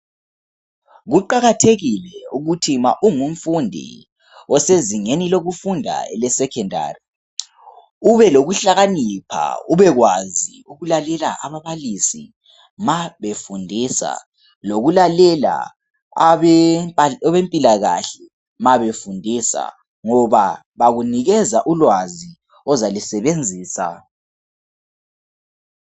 Kuqakathekile ukuthi ma ungumfundi osezingeni lokufunda elesecondary ube lokuhlakanipha ubekwazi ukulalela ababalisi mabefundisa lokulalela abempilakahle mabefundisa ngoba bakunikeza ulwazi ozalusebenzisa.